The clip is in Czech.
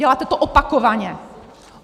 Děláte to opakovaně.